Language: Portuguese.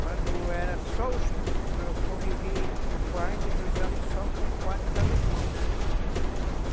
Quando era só os... eu convivi quarenta e dois anos só com padres alemães.